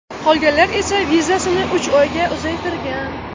Qolganlar esa vizasini uch oyga uzaytirgan.